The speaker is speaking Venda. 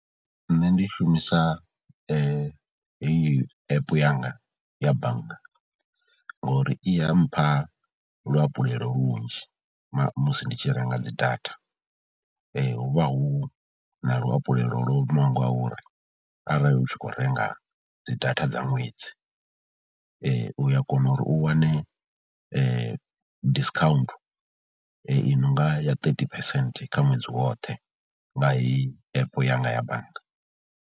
Nṋe ndi shumisa heyi app yanga ya bannga ngauri i ya mpha luhafhulelo lunzhi na musi ndi tshi renga dzi data. Hu vha hu na luhafhulelo lo imaho nga uri arali u tshi khou renga dzi data dza ṅwedzi, u ya kona uri u wane discount i no nga ya thirty percent kha ṅwedzi woṱhe nga heyi app yanga ya bannga.